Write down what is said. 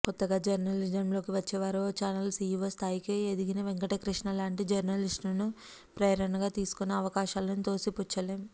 కొత్తగా జర్నలిజంలోకి వచ్చేవారు ఓ ఛానల్ సీఈవో స్థాయికి ఎదిగిన వెంకటకృష్ణ లాంటి జర్నలిస్టును ప్రేరణగా తీసుకునే అవకాశాలను తోసిపుచ్చలేం